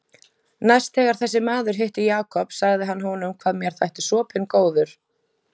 Næst þegar þessi maður hitti Jakob sagði hann honum hvað mér þætti sopinn góður.